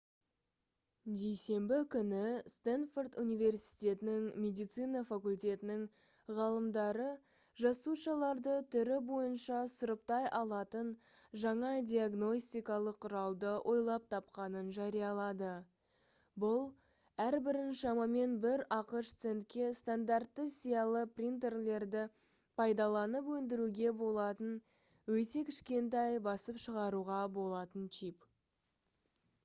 дүйсенбі күні стэнфорд университетінің медицина факультетінің ғалымдары жасушаларды түрі бойынша сұрыптай алатын жаңа диагностикалық құралды ойлап тапқанын жариялады бұл әрбірін шамамен бір ақш центке стандартты сиялы принтерлерді пайдаланып өндіруге болатын өте кішкентай басып шығаруға болатын чип